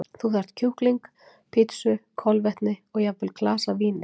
Þú þarft kjúkling, pizzu, kolvetni og jafnvel glas af víni.